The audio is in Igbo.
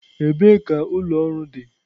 Ebee ka ụlọ ọrụ dị?